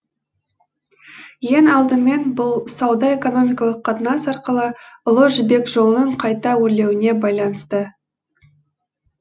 ең алдымен бұл сауда экономикалық қатынас арқылы ұлы жібек жолының қайта өрленуіне байланысты